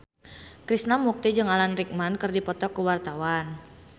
Krishna Mukti jeung Alan Rickman keur dipoto ku wartawan